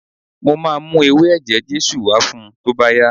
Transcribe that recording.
Mo máa mú ewé ẹ̀jẹ̀ Jésù wá fun tó bá yá.